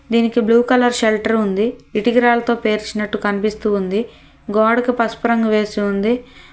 దీనికి blue colour shelter ఉంది ఇటుకరాళ్లతో పేర్చినట్టు కనిపిస్తూ ఉంది గోడకి పసుపు రంగు వేసి ఉంది.